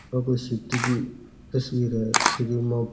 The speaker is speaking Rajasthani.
ये सिटी की तस्वीर है जकी मा --